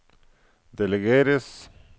delegeres